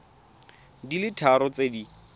di le tharo tse di